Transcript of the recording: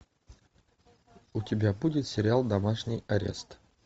у тебя будет сериал домашний арест